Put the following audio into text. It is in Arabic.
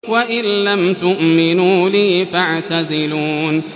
وَإِن لَّمْ تُؤْمِنُوا لِي فَاعْتَزِلُونِ